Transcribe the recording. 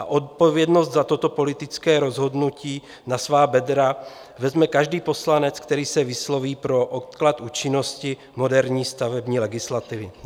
A odpovědnost za toto politické rozhodnutí na svá bedra vezme každý poslanec, který se vysloví pro odklad účinnosti moderní stavební legislativy.